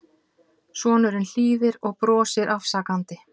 Sonurinn hlýðir og brosir afsakandi.